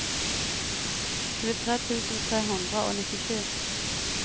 tjuetre tusen tre hundre og nittisju